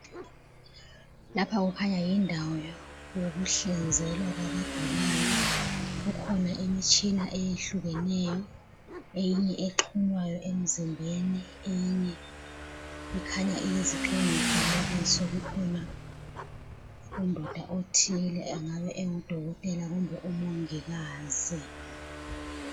Lapha kukhanya yindawo yokuhlinzelwa kwabagulayo. Kukhona imitshina eyehlukeneyo. Eyinye exhunywayo emzimbeni, eyinye ikhanya iyizigxingi mfanekiso. Kukhona undoda othile, engabe engudokotela kumbe umongikazi.